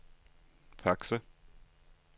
Fakse